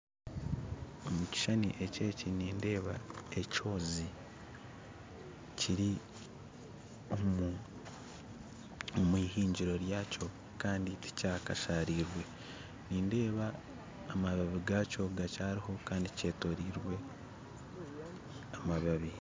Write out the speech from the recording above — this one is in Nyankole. Omu kishuushani eki nindeeba ekyozi kiri omuhingiro ryakyo kandi tikyakashariirwe nindeeba amabaabi gaakyo gakyariho kandi kyetoreirwe amabaabi